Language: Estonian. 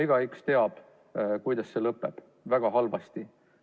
Igaüks teab, kuidas see lõpeb – väga halvasti.